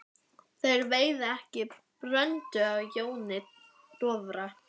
Þeir veiða ekki bröndu á Jóni Dofra.